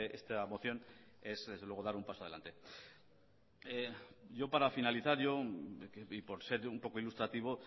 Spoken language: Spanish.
esta moción es desde luego dar un paso adelante para finalizar por ser un poco ilustrativo